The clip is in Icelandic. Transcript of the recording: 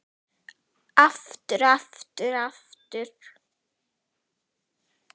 Aftur og aftur og aftur.